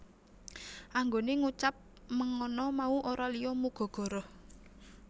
Anggone ngucap mengana mau ora liya muga goroh